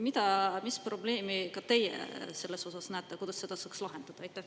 Mis probleemi ka selles osas näete, kuidas seda saaks lahendada?